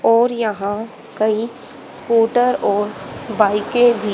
और यहां कई स्कूटर और बाइकें भी--